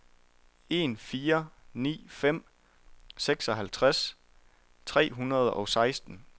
en fire ni fem seksoghalvtreds tre hundrede og seksten